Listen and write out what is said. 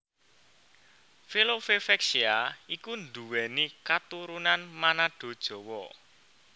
Velove Vexia iku nduwèni katurunan Manado Jawa